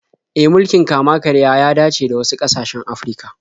E, mulkin kama-karya ya dace da wasu ƙasashen Afirka.